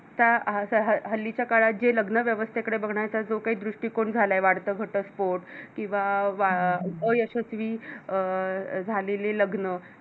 हल्लीच्या काळात जे लग्नव्यवस्थेकडे बघण्याचा जो काही दृष्टीकोन झालाय आहे वाढत घटस्फोट किंवा अ अयशस्वी झालेली लग्न